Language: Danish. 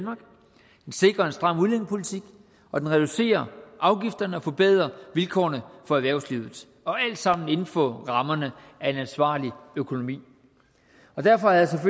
sikrer en stram udlændingepolitik og den reducerer afgifterne og forbedrer vilkårene for erhvervslivet alt sammen inden for rammerne af en ansvarlig økonomi derfor havde